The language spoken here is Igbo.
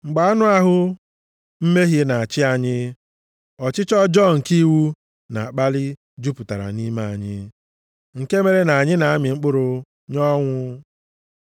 Mgbe anụ ahụ mmehie na-achị anyị, ọchịchọ ọjọọ nke iwu na-akpali jupụtara nʼime anyị, nke mere na anyị na-amị mkpụrụ nye ọnwụ.